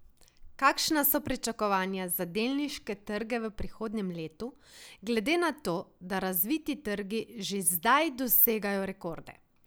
Kakšna so pričakovanja za delniške trge v prihodnjem letu, glede na to, da razviti trgi že zdaj dosegajo rekorde?